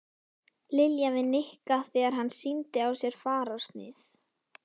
Lilja við Nikka þegar hann sýndi á sér fararsnið.